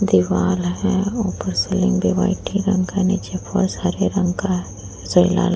दीवाल है। ऊपर सीलिंग भी व्हाइट ही रंग का है। नीचे फर्श हरे रंग का है।